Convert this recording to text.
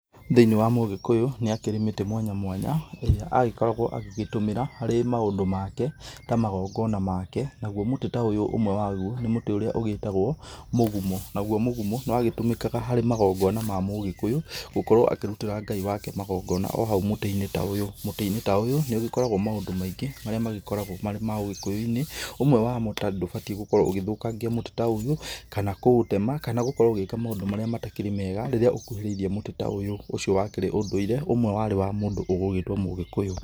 Thĩinĩ wa mũgĩkũyũ nĩ akĩrĩ mĩtĩ mwanya mwanya ĩríĩ agĩkoragwo agĩgĩtũmĩra harĩ maũndũ make ta magongona make, nagũo mũtĩ ta ũyũ ũmwe wagũo nĩ mũtĩ ũrĩa wĩtagwo mũgumo, nagũo mũgumo nĩ watũmĩkaga harĩ magongona ma mũgĩkũyũ gũkorwo akĩrũtĩra Ngai wake magongona o hau mũtĩ-ini ta ũyũ, mũtĩ-inĩ ta ũyũ nĩ ũgĩkoragwo maũndũ maingĩ marĩa magĩkoragwo marĩ ma ũgĩkũyũ-inĩ ũmwe wamo tondũ ndũbatie gũkorwo ũgĩthokangia mũtĩ ta ũyũ kana gũkorwo ũgĩka maũndũ marĩa matarĩ mega rĩrĩa ũkũhĩrĩirie mũtĩ ta ũyũ, ũcio wakĩrĩ ũndũire ũmwe warĩ wa mũndũ ũgũgĩtwo mũgĩkũyũ.